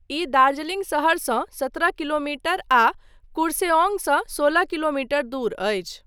ई दार्जिलिंग शहरसँ सत्रह किलोमीटर आ कुर्सेओङसँ सोलह किलोमीटर दूर अछि।